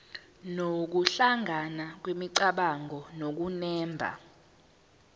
nokuhlangana kwemicabango nokunemba